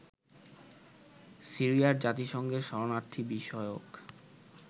সিরিয়ায় জাতিসংঘের শরণার্থী বিষয়ক